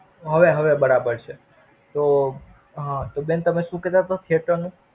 હવે હવે બરાબર છે. તો હ તો બેન શું કેતા તા theater નું?